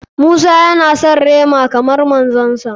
Musa ya na son rema kamar manzon sa.